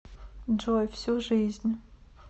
джой всю жизнь